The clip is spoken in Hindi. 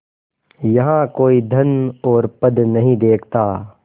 यहाँ कोई धन और पद नहीं देखता